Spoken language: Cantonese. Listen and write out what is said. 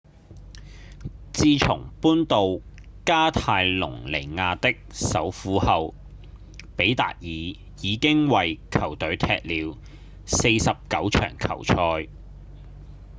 自從搬到加泰隆尼亞的首府後比達爾已經為球隊踢了49場球賽